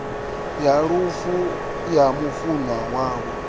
ya lufu ya mufunwa wavho